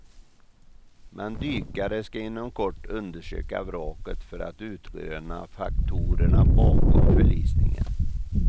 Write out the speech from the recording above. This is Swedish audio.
Men dykare ska inom kort undersöka vraket för att utröna faktorerna bakom förlisningen.